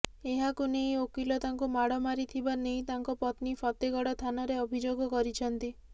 ଏହାକୁ ନେଇ ଓକିଲ ତାଙ୍କୁ ମାଡ଼ ମାରିଥିବା ନେଇ ତାଙ୍କ ପତ୍ନୀ ଫତେଗଡ଼ ଥାନାରେ ଅଭିଯୋଗ କରିଛନ୍ତି